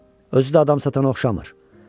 Özü də adam satana oxşamır.